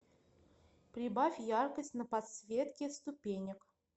прибавь яркость на подсветке ступенек